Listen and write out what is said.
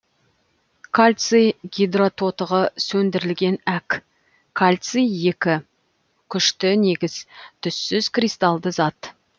кальций гидрототығы сөндірілген әк кальций екі күшті негіз түссіз кристалды зат